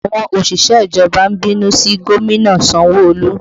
Àwọn òṣìṣẹ́ ìjọba ń bínú sí gómìnà Sanwo Olu